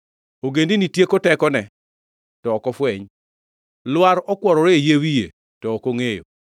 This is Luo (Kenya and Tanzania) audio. Ogendini tieko tekone, to ok ofweny. Lwar okuorore e yie wiye, to ok ongʼeyo.